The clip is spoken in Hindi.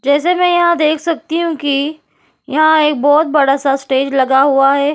जैसे मैं देख सकती हूं कि यहां एक बोहोत बड़ा सा स्टेज लगा हुआ है।